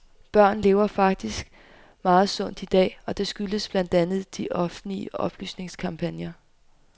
Børn lever faktisk meget sundt i dag, og det skyldes blandt andet de offentlige oplysningskampagner.